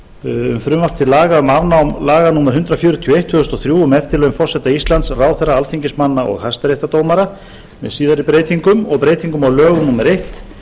um frumvarp til laga um afnám laga númer hundrað fjörutíu og eitt tvö þúsund og þrjú um eftirlaun forseta íslands ráðherra alþingismanna og hæstaréttardómara með síðari breytingum og breyting á lögum númer eitt nítján hundruð